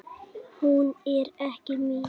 Hún er ekki mín.